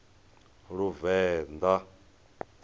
luvenḓa